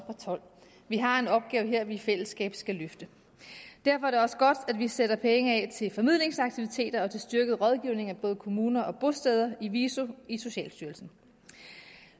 og tolv vi har en opgave her vi i fællesskab skal løfte derfor er det også godt at vi sætter penge af til formidlingsaktiviteter og til styrket rådgivning af både kommuner og bosteder i viso i socialstyrelsen